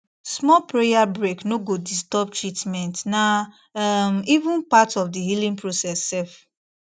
small prayer break no go disturb treatmentna um even part of the healing process sef